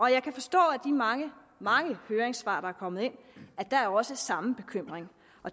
jeg kan forstå af de mange mange høringssvar der er kommet ind at der også er samme bekymring